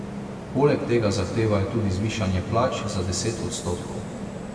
Poleg tega zahtevajo tudi zvišanje plač za deset odstotkov.